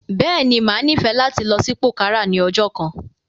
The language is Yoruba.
Bẹ́ẹ̀ ni, màá nífẹ̀ẹ̀ láti lọ sí pòkárà ní ọjọ́ kan.